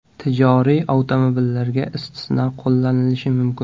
Tijoriy avtomobillarga istisno qo‘llanilishi mumkin.